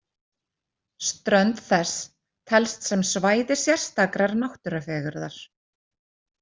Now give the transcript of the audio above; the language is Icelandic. Strönd þess telst sem svæði sérstakrar náttúrufegurðar.